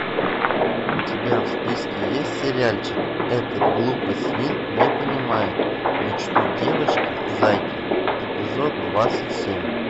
у тебя в списке есть сериальчик этот глупый свин не понимает мечту девочки зайки эпизод двадцать семь